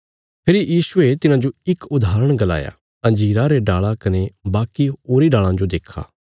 फेरी यीशुये तिन्हाजो इक उदाहरण गलाया अंजीरा रे डाल़ा कने वाकी होरी डाल़ां जो देक्खा